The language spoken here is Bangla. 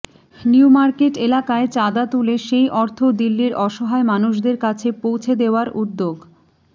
নিউ মার্কেট এলাকায় চাঁদা তুলে সেই অর্থ দিল্লির অসহায় মানুষদের কাছে পৌঁছে দেওয়ার উদ্যোগ